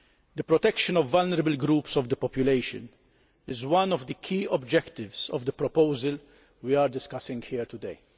The protection of vulnerable groups of the population is one of the key objectives of the proposal we are discussing here today.